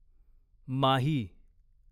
माही